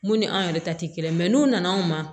Mun ni an yɛrɛ ta te kelen ye n'u nana anw ma